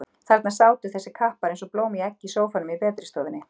Þarna sátu þessir kappar eins og blóm í eggi í sófanum í betri stofunni.